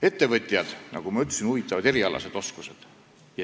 Ettevõtjaid, nagu ma ütlesin, huvitavad erialased oskused.